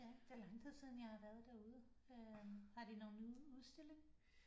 Ja det er lang tid siden jeg har været derude øh har de nogle nye udstilling